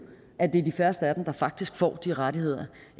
at det er de færreste af dem der faktisk får de rettigheder